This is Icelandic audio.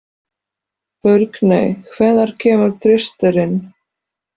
Burkney, hvenær kemur þristurinn?